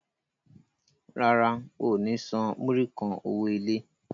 Rárá, o ò ní san múrí kan owó ilé.